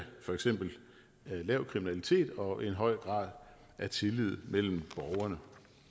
for eksempel lav kriminalitet og en høj grad af tillid mellem borgerne